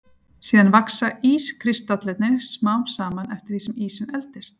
Síðan vaxa ískristallarnir smám saman eftir því sem ísinn eldist.